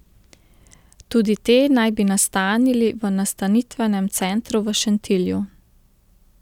Tudi te naj bi nastanili v nastanitvenem centru v Šentilju.